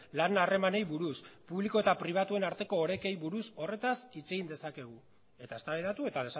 lan harremanei buruz publiko eta pribatuen arteko orekei buruz horretaz hitz egin dezakegu eta eztabaidatu eta